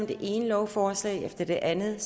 det ene lovforslag efter det andet